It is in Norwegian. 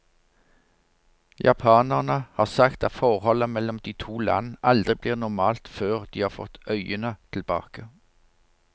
Japanerne har sagt at forholdet mellom de to land aldri blir normalt før de har fått øyene tilbake.